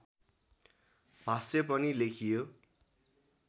भाष्य पनि लेखियो